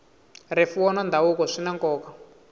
rifuwo na ndhavuko swi na nkoka